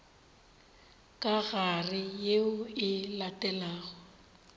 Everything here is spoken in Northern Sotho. ka gare yeo e latelago